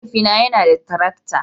Mahaifina yana da tarakta